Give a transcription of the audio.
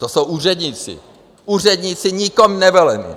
To jsou úředníci, úředníci nikým nevolení.